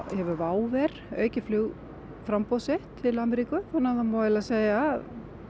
hefur WOW air aukið flugframboð sitt til Ameríku það má eiginlega segja að